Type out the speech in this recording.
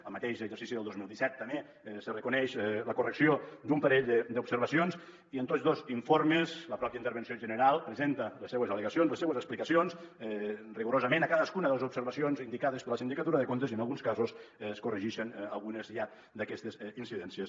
al mateix exercici del dos mil disset també s’hi reconeix la correcció d’un parell d’observacions i en tots dos informes la pròpia intervenció general presenta les seves al·legacions les seves explicacions rigorosament a cadascuna de les observacions indicades per la sindicatura de comptes i en alguns casos es corregixen algunes ja d’aquestes incidències